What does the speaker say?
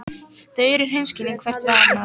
Þau eru hreinskilin hvert við annað.